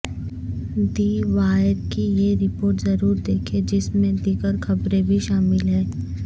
دی Wire کی یہ report ضرور دیکھیں جس میں دیگر خبریں بھی شامل ہیں